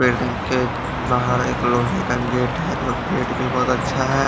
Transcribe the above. Building के बाहर एक लोहे का गेट है जो गेट भी बहोत अच्छा है।